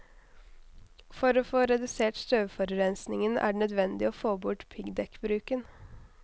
For å få redusert støvforurensningen er det nødvendig å få bort piggdekkbruken.